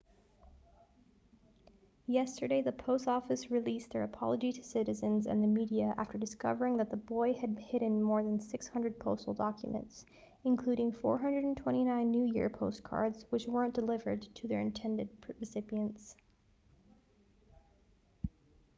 yesterday the post office released their apology to citizens and the media after discovering that the boy had hidden more than 600 postal documents including 429 new year postcards which weren't delivered to their intended recipients